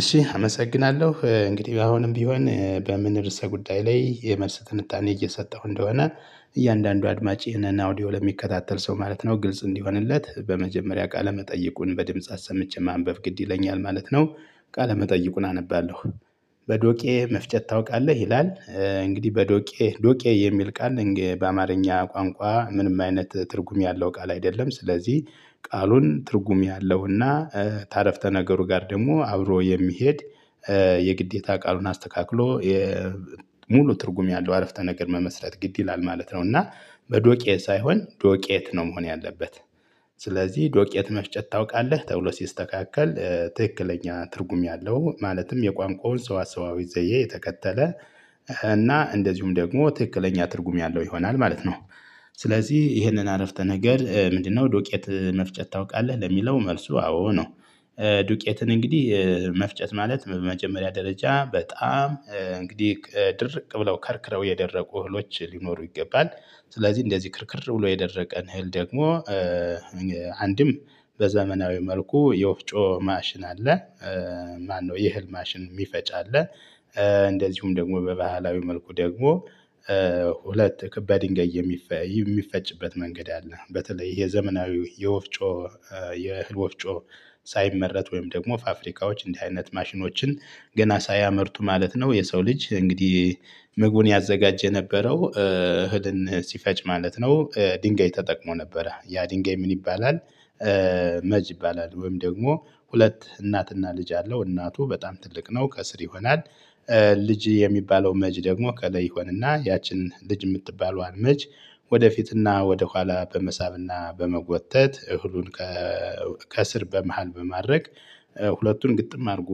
እሺ አመሰግናለሁ እንግዲህ አሁንም ቢሆን በምን ርዕሰ ጉዳይ ላይ የመልስ ትንታኔ እየሰጠሁ እንደሆነ እያንዳንዱ አድማጭ ይሄንን አውዲዮ ለሚከታተል ሰው ማለት ነው ግልጽ እንዲሆንለት በመጀመሪያ ቃለ መጠየቁን በድምጽ አሰምቼ ማንበብ ግድ ይለኛል ማለት ነው። ቃለ መጠይቁን አነባለሁ። በዶቄ መፍጨት ታውቃለህ ይላል እንግዲህ በዶቄ ዶቄ የሚል ቃል በአማርኛ ቋንቋ ምንም አይነት ትርጉም ያለው ቃል አይደለም። ስለዚህ ቃሉን ትርጉም ያለውና ተአረፍተ ነገሩ ጋር ደግሞ አብሮ የሚሄድ የግዴታ ቃሉን አስተካክሎ የሙሉ ትርጉም ያለው አረፍተ ነገር መመስረት ግድ ይላል ማለት ነው። እና በዶቄ ሳይሆን ዶቄት ነው። መሆን ያለበት። ስለዚህ ዶቄት መፍጨት ታውቃለህ ተብሎ ሲስተካከል ትክክለኛ ትርጉም ያለው ማለትም የቋንቋውን ሰወሰዋዊ ዘዬ የተከተለ እና እንደዚሁም ደግሞ ትክክለኛ ትርጉም ያለው ይሆናል ማለት ነው። ስለዚህ ይህንን አረፍተ ነገር ምንድነው? ዱቄት መፍጨት ታውቃለህ ለሚለው መልሱ አዎ ነው። ዱቄትን እንግዲህ መፍጨት ማለት በመጀመሪያ ደረጃ በጣም እንግዲህ ድርቅ ብለው ከርክረው የደረቁ እህሎች ሊኖሩ ይገባል። ስለዚህ እንደዚህ ክርክር ብሎ የደረቀን እህል ደግሞ አንድም በዘመናዊ መልኩ የወፍጮ ማሽን አለ። ማነው የእህል ማሽን የሚፈጭ አለ። እንደዚሁም ደግሞ በባህላዊ መልኩ ደግሞ ሁለት ክ በድንጋይ የሚፈጭበት መንገድ አለ። በተለይ ይህ ዘመናዊው የወፍጮ የእህል ወፍጮ ሳይመረት ወይም ደግሞ ፋብሪካዎች እንዲህ አይነት ማሽኖችን ገና ሳያመርቱ ማለት ነው። የሰው ልጅ እንግዲህ ምግቡን ያዘጋጀ የነበረው እህልን ሲፈጭ ማለት ነው። ድንጋይ ተጠቅሞ ነበረ ያ ድንጋይ ምን ይባላል? መጅ ይባላል ወይም ደግሞ ሁለት እናትና ልጅ አለው እናቱ በጣም ትልቅ ነው ከስር ይሆናል። ልጅ የሚባለው መጅ ደግሞ ቀለ ይሆንና ያችን ልጅ የምትባለዋን መጅ ወደፊትና ወደኋላ በመሳብና በመጎተት እህሉን ከስር በመሃል በማድረግ ሁለቱን ግጥም አድርጎ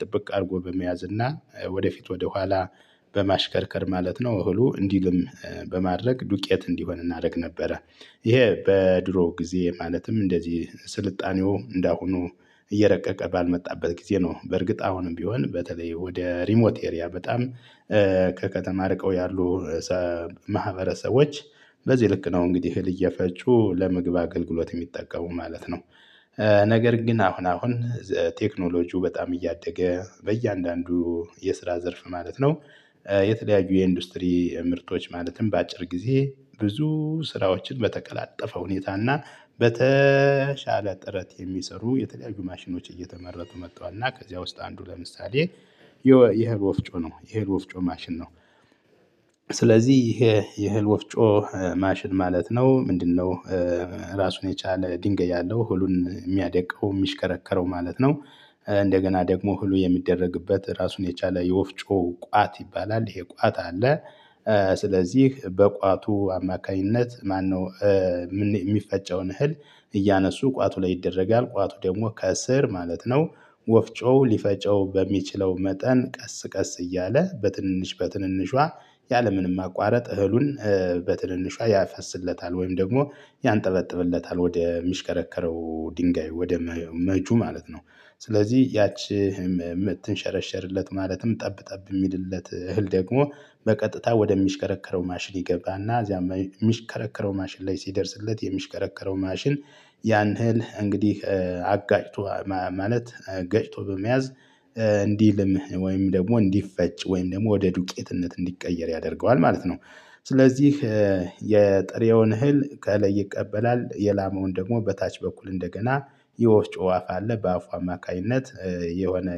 ጥብቅ አድርጎ በመያዝ እና ወደፊት ወደኋላ በማሽከርከር ማለት ነው። እህሉ እንዲህ በማድረግ ዱቄት እንዲሆን እናደርግ ነበረ። ይሄ በድሮ ጊዜ ማለትም እንደዚህ ስልጣኔው እንዳሁኑ እየረቀቀ ባልመጣበት ጊዜ ነው። በርግጥ አሁንም ቢሆን በተለይ ወደ ሪሞት ኤሪያ በጣም ከከተማ ርቀው ያሉ ማህበረሰቦች በዚህ ልክ ነው እንግዲህ እህል እየፈጩ ለምግብ አገልግሎት የሚጠቀሙ ማለት ነው። ነገር ግን አሁን አሁን ቴክኖሎጂው በጣም እያደገ በእያንዳንዱ የስራ ዘርፍ ማለት ነው። የተለያዩ የኢንዱስትሪ ምርቶች ማለትም በአጭር ጊዜ ብዙ ስራዎችን በተቀላጠፈ ሁኔታ እና በተሻለ ጥረት የሚሰሩ የተለያዩ ማሽኖች እየተመረቱ መተዋል እና ከዚያ ውስጥ አንዱ ለምሳሌ የ ይሄ ወፍጮ ነው የይሄ ወፍጮ ማሽን ነው። ስለዚህ ይሄ የህል ወፍጮ ማሽን ማለት ነው ምንድነው? ራሱን የቻለ ድንገይ ያለው እህሉን የሚያደቀው የሚሽከረከረው ማለት ነው። እንደገና ደግሞ እህሉ የሚደረግበት ራሱን የቻለ የወፍጮ ቋት ይባላል ይሄ ቋት አለ። ስለዚህ በቋቱ አማካኝነት ማነው? የሚፈጨውን እህል እያነሱ ቋቱ ላይ ይደረጋል ቋቱ ደግሞ ከእስር ማለት ነው። ወፍጮ ሊፈጨው በሚችለው መጠን ቀስ ቀስ እያለ በትንንሽ በትንንሿ ያለምንም ማቋረጥ እህሉን በትንንሿ ያፈስለታል ወይም ደግሞ ያንጠበጥብለታል ወደ የሚሽከረከረው ድንጋይ ወደ መጁ ማለት ነው። ስለዚህ ያቺ የምትሸረሸርለት ማለትም ጠብ ጠብ የሚልለት እህል ደግሞ በቀጥታ ወደሚሽከረከረው ማሽን ይገባና እዚያም የሚሽከረከረው ማሽን ላይ ሲደርስለት የሚሽከረከረው ማሽን ያን እህል እንግዲህ አጋጭቶ ማለት ገጭቶ በመያዝ እንዲልምህ ወይም ደግሞ እንዲፈጭ ወይም ደግሞ ወደ ዱቄትነት እንዲቀየር ያደርገዋል ማለት ነው። ስለዚህ የጥሬውን እህል ከእለይ ይቀበላል የላማውን ደግሞ በታች በኩል እንደገና የወፍጮ አፍ አለ በአፉ አማካኝነት የሆነ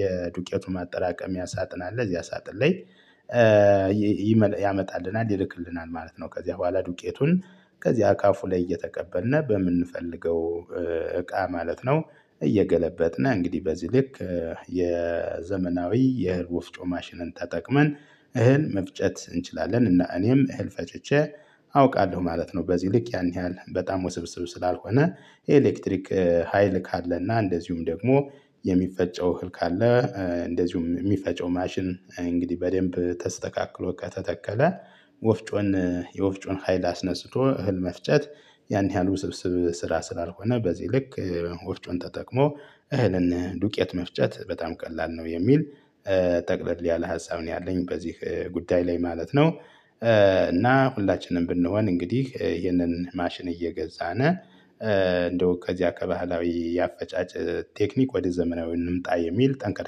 የዱቄቱን ማጠራቀምያ ሳጥን አላ እዚያ ሳጥን ላይ ያመጣልናል ይልክልናል ማለት ነው። ከዚያ በኋላ ዱቄቱን ከዚያ ከአፉ ላይ እየተቀበልን በምንፈልገው እቃ ማለት ነው። እየገለበጥን እንግዲህ በዚህ ልክ የዘመናዊ የእህል ወፍጮ ማሽንን ተጠቅመን እህል መፍጨት እንችላለን እና እኔም እህል ፈጭቼ አውቃለሁ ማለት ነው። በዚህ ልክ ያን ያህል በጣም ውስብስብ ስላልሆነ የኤሌክትሪክ ሀይል ካለና እንደዚሁም ደግሞ የሚፈጨው እህል ካለ። እንደዚሁም የሚፈጨው ማሽን እንግዲህ በደንብ ተስተካክሎ ከተተከለ ወፍጮን የወፍጮን ሀይል አስነጽቶ እህል መፍጨት ያን ያህል ውስብስብ ስራ ስላልሆነ። በዚህ ልክ ወፍጮን ተጠቅሞ እህልን ዱቄት መፍጨት በጣም ቀላል ነው። የሚል ጠቅለል ያለ ሀሳብ ነው ያለኝ በዚህ ጉዳይ ላይ ማለት ነው። እና ሁላችንም ብንሆን እንግዲህ ይህንን ማሽን እየገዛን እንደው ከዚያ ከባህላዊ ያፈጫጭ ቴክኒክ ወደ ዘመናዊ እንምጣ የሚል ጠንቀር